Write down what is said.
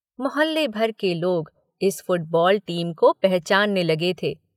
मोहल्ले भर के लोग इस फुटबॉल टीम को पहचानने लगे थे।